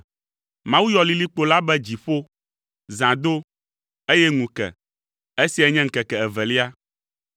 Mawu yɔ lilikpo la be “dziƒo.” Zã do, eye ŋu ke. Esiae nye ŋkeke evelia.